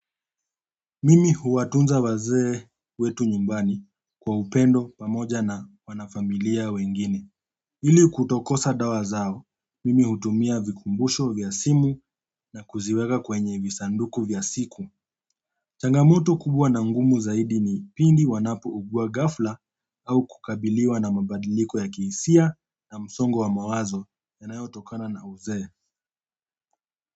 Mimi huwatunza wazee wetu nyumbani kwa upendo pamoja na wanafamilia wengine. Ili kutokosa dawa zao, mimi hutumia vikumbusho vya simu na kuziweka kwenye visanduku vya siku. Changamoto kubwa na ngumu zaidi ni pindi wanapo uguwa ghafla au kukabiliwa na mabadiliko ya kihisia na msongo wa mawazo yanayotokana na uzee.